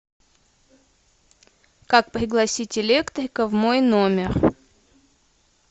как пригласить электрика в мой номер